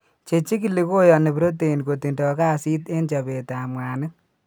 Chechikili koyaani protein kotindo kasit en chopetab mwanik.